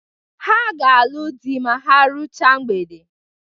Ha ga-alụ dị ma ha ruchaa mgbede.